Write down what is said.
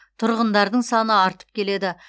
тұрғындардың саны артып келеді